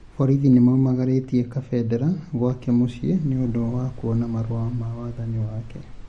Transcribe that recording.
Borithi nĩmaumagarĩtie Kabendera gwake mũcĩi nĩũndũ wa kũona marũa ma wathani wake